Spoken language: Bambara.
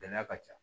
Gɛlɛya ka ca